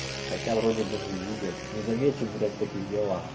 хотя вроде бы не видел не заметен блять в таких делах